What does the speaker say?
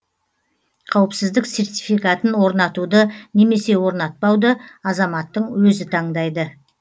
қауіпсіздік сертификатын орнатуды немесе орнатпауды азаматтың өзі таңдайды